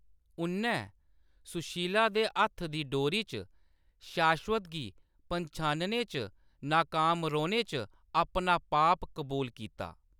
उʼन्नै सुशीला के हत्थ दी डोरी च शाश्वत गी पन्छानने च नाकाम रौह्‌‌‌ने च अपना पाप कबूल कीता।